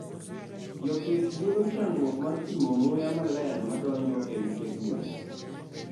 jopith yudo chandruok mar pimo muya maler madonjo e ute gwen